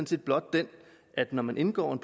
set blot den at når man indgår en